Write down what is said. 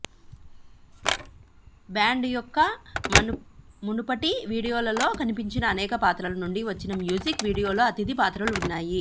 band యొక్క మునుపటి వీడియోలలో కనిపించిన అనేక పాత్రల నుండి వచ్చిన మ్యూజిక్ వీడియోలో అతిథి పాత్రలు ఉన్నాయి